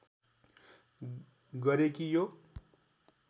गरे कि यो